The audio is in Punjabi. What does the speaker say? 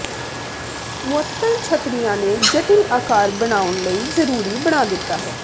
ਮੁਅੱਤਲ ਛੱਤਰੀਆਂ ਨੇ ਜਟਿਲ ਆਕਾਰ ਬਣਾਉਣ ਲਈ ਜ਼ਰੂਰੀ ਬਣਾ ਦਿੱਤਾ ਹੈ